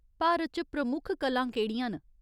भारत च प्रमुख कलां केह्ड़ियां न ?